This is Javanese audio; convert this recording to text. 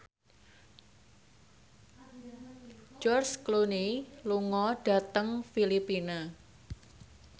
George Clooney lunga dhateng Filipina